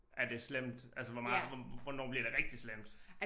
Er det slemt altså hvor meget hvornår bliver det rigtig slemt